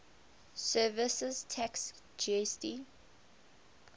services tax gst